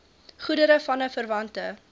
goedere vanaf verwante